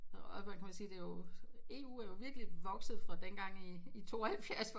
Og hvad hvad kan man sige det er jo EU er jo virkelig vokset fra dengang i 72